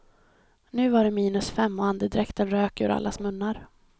Nu var det minus fem och andedräkten rök ur allas munnar.